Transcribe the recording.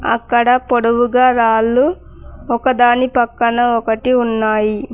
అక్కడ పొడవుగా రాళ్లు ఒకదాని పక్కన ఉన్నాయి.